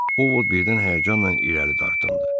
Ovod birdən həyəcanla irəli dartıldı.